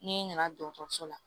N'i nana dɔgɔtɔrɔso la